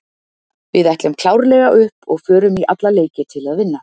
Við ætlum klárlega upp og förum í alla leiki til að vinna.